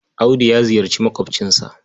Audu ya ziyarci maƙwabcinsa.